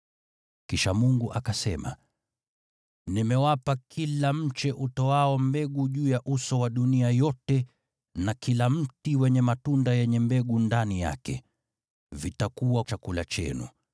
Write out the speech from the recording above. Kisha Mungu akasema, “Nimewapa kila mche utoao mbegu juu ya uso wa dunia yote, na kila mti wenye matunda yenye mbegu ndani yake. Vitakuwa chakula chenu.